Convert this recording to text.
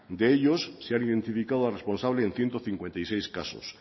de ellos se han identificado a responsables en ciento cincuenta y seis casos